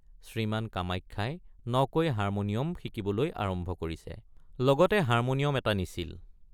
শ্ৰীমান কামাখ্যাই নকৈ হাৰ্মনিয়ম শিকিবলৈ আৰম্ভ কৰিছে লগতে হাৰ্মনিয়ম এটা নিছিল।